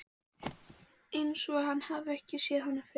Einsog hann hafi ekki séð hana fyrr.